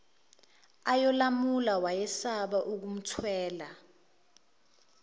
ayolamula wayesaba ukumthela